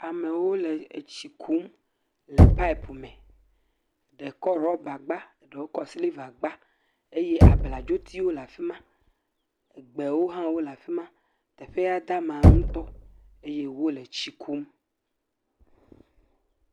Amewo le etsi kum le pɔpi me. Ɖe kɔ ɖɔba gba, ɖewo kɔ siliva gba eye abladzitiwo le afi ma. Gbewo hã wole afi ma. Teƒea da ama ŋutɔ eye wole tsi kum.